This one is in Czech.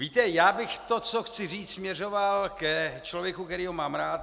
Víte, já bych to, co chci říct, směřoval ke člověku, kterého mám rád.